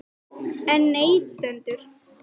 Elísabet Inga Sigurðardóttir: En neytendur?